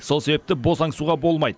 сол себепті босаңсуға болмайды